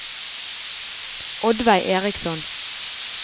Oddveig Eriksson